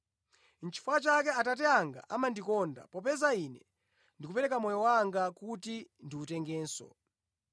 Nʼchifukwa chake Atate anga amandikonda, popeza Ine ndikupereka moyo wanga kuti ndiwutengenso.